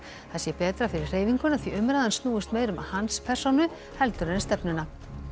það sé betra fyrir hreyfinguna því umræðan snúist meira um hans persónu heldur en stefnuna